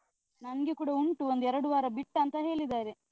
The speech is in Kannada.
ನಂಗೆ ಕೂಡ ಉಂಟು, ಒಂದ್ ಎರಡ್ ವಾರ ಬಿಟ್ಟ್ ಅಂತ ಹೇಳಿದಾರೆ.